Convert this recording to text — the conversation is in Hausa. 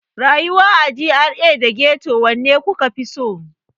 Rayuwa a GRA da Ghetto, wanne kuka fi so?